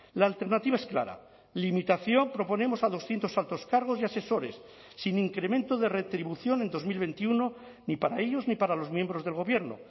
la alternativa es clara limitación proponemos a doscientos altos cargos y asesores sin incremento de retribución en dos mil veintiuno ni para ellos ni para los miembros del gobierno